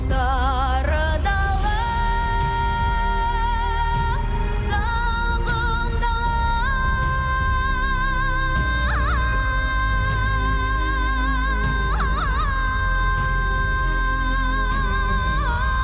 сары далам сағым далам